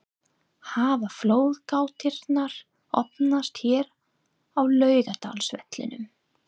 Hafa flóðgáttirnar opnast hér á Laugardalsvellinum??